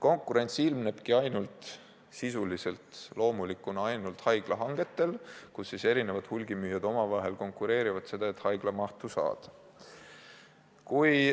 Konkurents ilmnebki sisuliselt ainult haiglate korraldatud hangete puhul, kus hulgimüüjad omavahel konkureerivad selle nimel, et haiglamahtu saada.